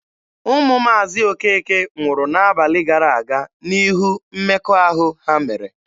Ụmụ Maazi Okeke nwụrụ n'abalị gara aga n'ihu mmekọahụ ha mere.